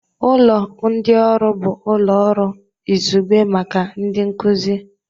Ụlọ ndị ọrụ bụ ụlọ ọrụ izugbe maka ndị nkuzi